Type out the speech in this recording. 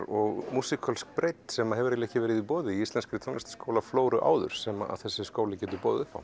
og músíkölsk breidd sem hefur ekki verið í boði í íslenskri áður sem þessi skóli getur boðið upp á